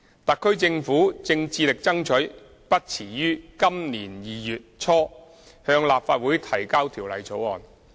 特區政府正致力爭取不遲於今年2月初向立法會提交條例草案。